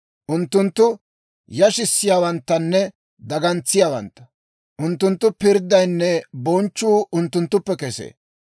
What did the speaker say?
Unttunttu yashissiyaawanttanne dagantsiyaawantta. Unttunttu pirddaynne bonchchuu unttunttuppe kesee.